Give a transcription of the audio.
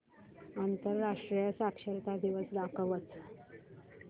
आंतरराष्ट्रीय साक्षरता दिवस दाखवच